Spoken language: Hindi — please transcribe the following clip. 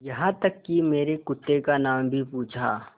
यहाँ तक कि मेरे कुत्ते का नाम भी पूछा